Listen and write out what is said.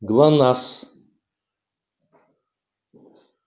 глонассс